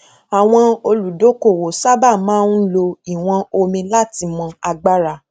àwọn olùdókòwò sábà máa ń lò ìwọn omi láti mọ agbára